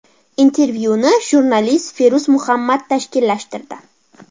Intervyuni jurnalist Feruz Muhammad tashkillashtirdi.